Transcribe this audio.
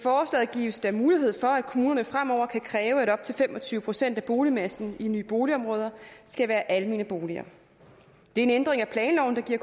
gives der mulighed for at kommunerne fremover kan kræve at op til fem og tyve procent af boligmassen i nye boligområder skal være almene boliger det er en ændring af planloven der